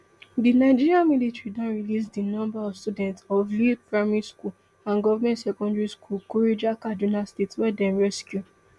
di nigerian military don release di number of students of lea primary school and government secondary school kuriga kaduna state wey dem rescue